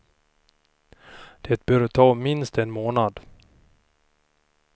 Det bör ta minst en månad.